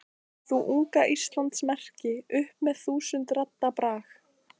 Rís þú, unga Íslands merki, upp með þúsund radda brag.